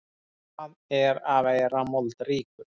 Hvað er að vera moldríkur?